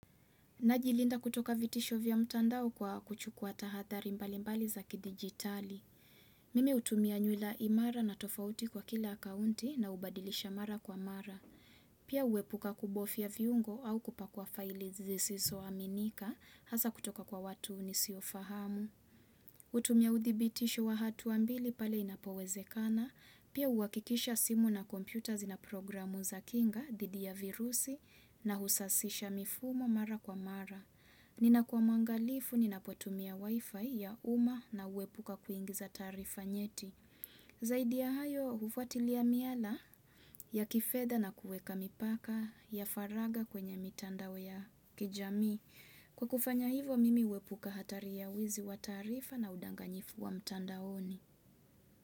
Najilinda kutoka vitisho vya mtandao kwa kuchukua tahadhari mbali mbali za kidijitali. Mimi hutumia nywila imara na tofauti kwa kila akaunti na ubadilisha mara kwa mara. Pia uhepuka kubofya viungo au kupakua faili zisisoaminika, hasa kutoka kwa watu nisiofahamu. Utumia udhibitisho wa hatua mbili pale inapowezekana, pia uhakikisha simu na kompyuta zina programu za kinga, dhidi ya virusi nahusasisha mifumo mara kwa mara. Ninakuwa mwangalifu, ninapotumia wifi ya umma na uhepuka kuingiza taarifa nyeti. Zaidi ya hayo, ufuatilia miala ya kifedha na kuweka mipaka ya faragha kwenye mitandao ya kijamii. Kwa kufanya hivo, mimi uhepuka hatari ya wizi wa taarifa na udanganyifu wa mtandaoni.